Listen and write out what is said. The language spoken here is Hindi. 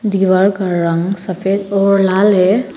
दीवार का रंग सफेद और लाल है।